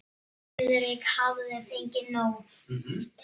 Friðrik hafði fengið nóg.